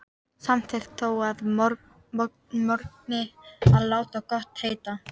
Samþykkti þó að morgni að láta gott heita.